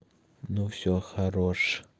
ну всё хорош